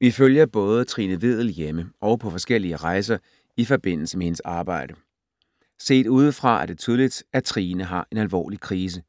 Vi følger både Trine Vedel hjemme og på forskellige rejser i forbindelse med hendes arbejde. Set udefra er det tydeligt, at Trine har en alvorlig krise.